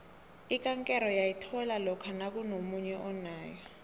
ikankere uyayithola lokha nakunomunye onayo